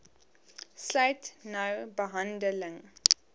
sluit nou behandeling